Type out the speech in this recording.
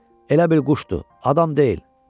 elə bir quşdu, adam deyil.